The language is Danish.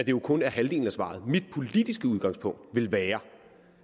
jo kun er halvdelen af svaret mit politiske udgangspunkt vil være